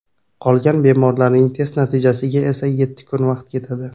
Qolgan bemorlarning test natijasiga esa yetti kun vaqt ketadi.